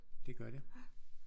Det gør det